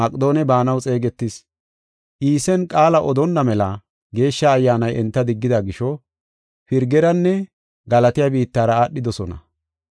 Iisen qaala odonna mela Geeshsha Ayyaanay enta diggida gisho, Pirgeranne Galatiya biittara aadhidosona.